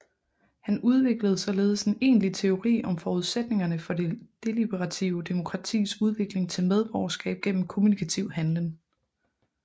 Han udviklede således en egentlig teori om forudsætningerne for det deliberative demokratis udvikling til medborgerskab gennem kommunikativ handlen